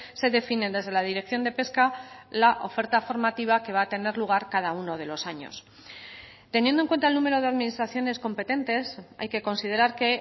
se definen desde la dirección de pesca la oferta formativa que va a tener lugar cada uno de los años teniendo en cuenta el número de administraciones competentes hay que considerar que